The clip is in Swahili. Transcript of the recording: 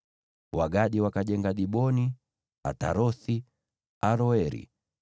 Wagadi wakajenga Diboni, Atarothi, Aroeri,